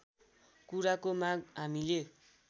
कुराको माग हामीले